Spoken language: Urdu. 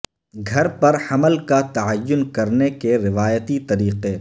گھر پر حمل کا تعین کرنے کے روایتی طریقے